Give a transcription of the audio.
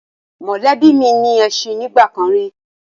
Mọ̀lẹ́bí mi ní ẹṣin nígbà kan rí